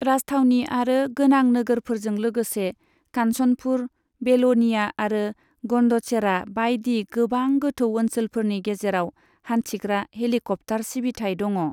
राजथावनि आरो गोनां नोगोरफोरजों लोगोसे कान्चनपुर, बेल'निया आरो गन्डचेरा बायदि गोबां गोथौ ओनसोलफोरनि गेजेराव हान्थिग्रा हेलीकप्टार सिबिथाय दङ।